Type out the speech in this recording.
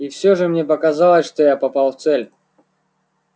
и всё же мне показалось что я попал в цель